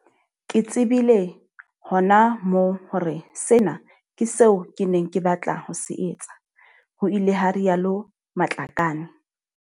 Ke tsebile hona moo hore sena ke seo ke neng ke batla ho se etsa, ho ile ha rialo Matlakane.